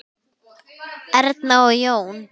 Erna og Jón.